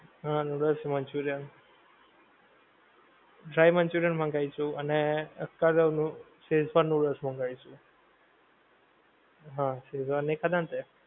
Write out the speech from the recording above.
હા noodles, Manchurian. dry Manchurian મંગાઈશું અને ઓલું શેઝવાન નૂડલ્સ મંગાવીશું. હં શેઝવાન નહિ ખાધ ને તે?